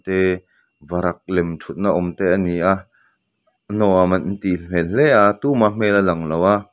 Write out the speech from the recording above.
te varak lem thutna awm te a ni a nuam an tih hmel hle a tuma hmel a lang lo a.